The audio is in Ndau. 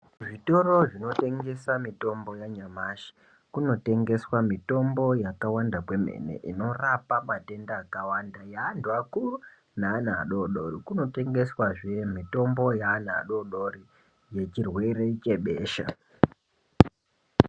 Zvitoro zvinotengese mitombo yanyamashi kunotengeswe mitombo yakawanda kwemene inorapa matenda akawanda yeantu akuru neana adodori kunotengeswehe mitombo yeana adodori yechirwere chebesha.